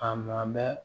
A ma bɛ